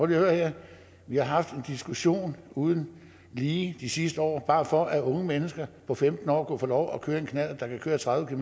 her vi har haft en diskussion uden lige de sidste år bare for at unge mennesker på femten år kunne få lov at køre en knallert der kan køre tredive